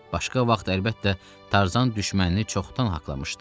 Başqa vaxt əlbəttə, Tarzan düşmənini çoxdan haqqlamışdı.